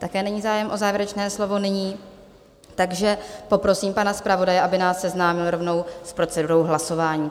Také není zájem o závěrečné slovo nyní, takže poprosím pana zpravodaje, aby nás seznámil rovnou s procedurou hlasování.